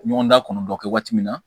Ɲɔgɔn da kɔnɔntɔn kɛ waati min na